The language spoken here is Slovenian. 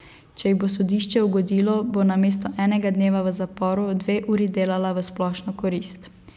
Če ji bo sodišče ugodilo, bo namesto enega dneva v zaporu dve uri delala v splošno korist.